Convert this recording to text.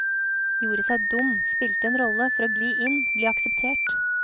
Gjorde seg dum, spilte en rolle, for å gli inn, bli akseptert.